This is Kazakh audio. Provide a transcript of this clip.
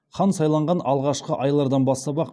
хан сайланған алғашқы айлардан бастап ақ